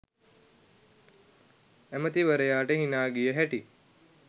ඇමැතිවරයාට හිනා ගිය හැටි